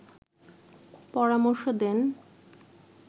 পরামর্শ দেন